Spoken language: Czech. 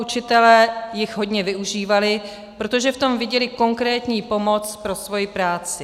Učitelé jich hodně využívali, protože v tom viděli konkrétní pomoc pro svou práci.